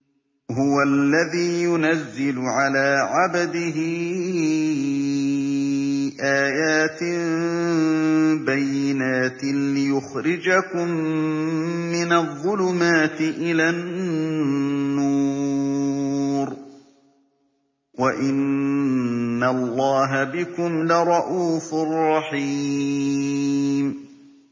هُوَ الَّذِي يُنَزِّلُ عَلَىٰ عَبْدِهِ آيَاتٍ بَيِّنَاتٍ لِّيُخْرِجَكُم مِّنَ الظُّلُمَاتِ إِلَى النُّورِ ۚ وَإِنَّ اللَّهَ بِكُمْ لَرَءُوفٌ رَّحِيمٌ